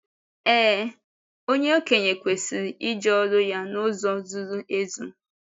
Éé, onye ọkénye kwesịrị ‘ịje ọ́rụ ya n’ụzọ zuru ezu.